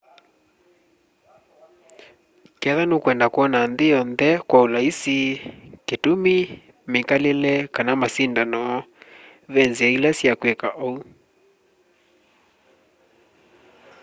ketha nukwenda kwona nthĩ yonthe kwa ũlaisi kĩtũmĩ mĩkalĩle kana masĩndano ve nzĩa ĩla sya kwĩka oũ